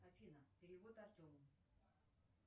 афина перевод артему